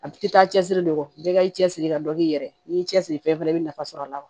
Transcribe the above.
A tɛ taa cɛsiri de kɔ bɛɛ ka i cɛsiri ka dɔ k'i yɛrɛ ye n'i y'i cɛsiri fɛn fɛn la i bɛ nafa sɔrɔ a la wa